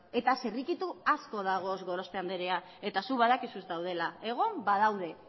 eta zirrikitu asko daude gorospe andrea eta zuk badakizu daudela egon badaude